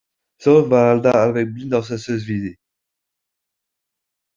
Sjálf var Alda alveg blind á þessu sviði.